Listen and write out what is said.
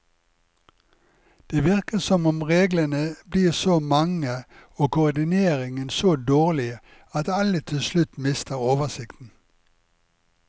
Det virker som om reglene blir så mange og koordineringen så dårlig at alle til slutt mister oversikten.